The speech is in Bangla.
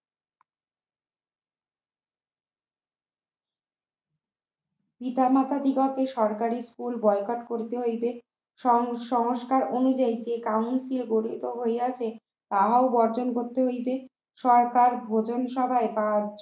পিতা মাতা দিগকে সরকারি school বয়কট করিতে হইবে সং সংস্কার অনুযায়ী যে Council গঠিত হইয়াছে তাহা বর্জন করতে হইবে সরকার ভোজন সভায় বা